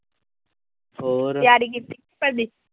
ਤਿਆਰੀ ਕੀਤੀ ਹੋਈ ਤੁਹਾਡੀ?